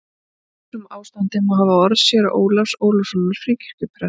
Til marks um ástandið má hafa orð séra Ólafs Ólafssonar Fríkirkjuprests